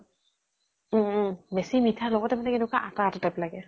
বেছি মিঠা লগতে মানে কেনেকুৱা আটা আটা type লাগে।